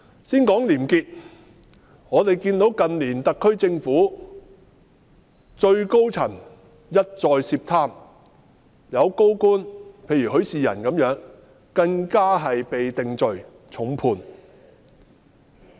先說廉潔，我們看到近年特區政府最高層一再涉貪，有高官更被定罪及重判。